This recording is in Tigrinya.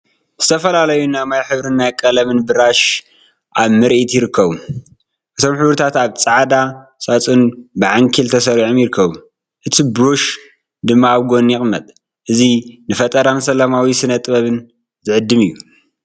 ዝተፈላለዩ ናይ ማይ ሕብሪን ናይ ቀለም ብራሽን ኣብ ምርኢት ይርከቡ። እቶም ሕብርታት ኣብ ጻዕዳ ሳጹን ብዓንኬል ተሰሪዖም ይርከቡ። እቲ ብራሽ ድማ ኣብ ጎድኑ ይቕመጥ። እዚ ንፈጠራን ሰላማዊ ስነ-ጥበብን ዝዕድም እዩ።